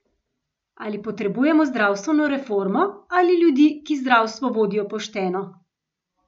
Ali potrebujemo zdravstveno reformo, ali ljudi, ki zdravstvo vodijo pošteno?